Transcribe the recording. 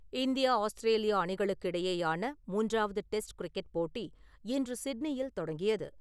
India - Australia அணிகளுக்கு இடையேயான மூன்றவாது டெஸ்ட் கிரிக்கெட் போட்டி இன்று சிட்னியில் தொடங்கியது.